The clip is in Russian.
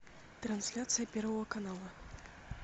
трансляция первого канала